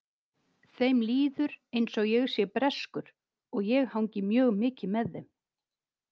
Þeim líður eins og ég sé breskur og ég hangi mjög mikið með þeim.